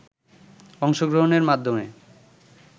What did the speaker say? অংশগ্রহণের মাধ্যমে